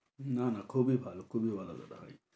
না না খুবই ভালো খুবই ভালো কথা হয়।